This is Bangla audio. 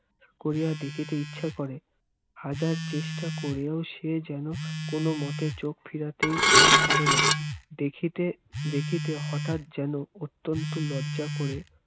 করিয়া দেখিতে ইচ্ছা করে হাজার চেষ্টা করিয়াও সে যেন কোনমতে চোখ ফিরাইতেই পারেনা দেখিতে দেখিতে হঠাৎ যেন অত্যন্ত লজ্জা করে